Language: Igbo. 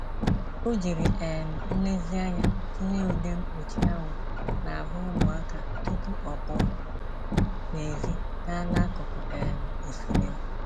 O jiri um nlezianya tinye ude mkpuchi anwụ n'ahụ ụmụaka tupu ọ pụọ n'èzí gaa n'akụkụ um osimiri.